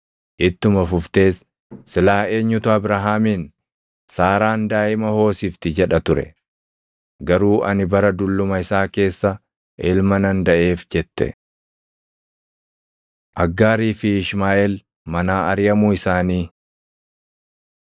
Ittuma fuftees, “Silaa eenyutu Abrahaamiin, ‘Saaraan daaʼima hoosisti’ jedha ture? Garuu ani bara dulluma isaa keessa ilma nan daʼeef” jette. Aggaarii fi Ishmaaʼeel Manaa Ariʼamuu Isaanii